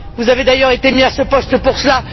Vous avez d'ailleurs été mis à ce poste pour cela.